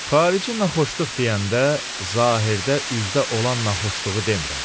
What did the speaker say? Xarici naxoşluq deyəndə zahirdə üzdə olan naxoşluğu demirəm.